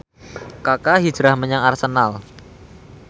Kaka hijrah menyang Arsenal